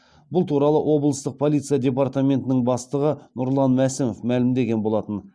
бұл туралы облыстық полиция департаментінің бастығы нұрлан мәсімов мәлімдеген болатын